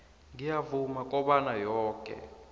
ngiyavuma kobana yoke